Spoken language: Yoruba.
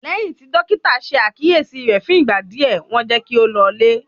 Lẹ́yìn tí Dọ́kítà ṣe àkíyèsí rẹ̀ fún ìgbà díẹ̀, wọ́n jẹ́ kí ó lọlé.